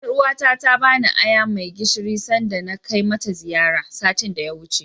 Ƴaruwa ta ta bani aya mai gishiri sanda na kai mata ziyara, satin da ya wuce.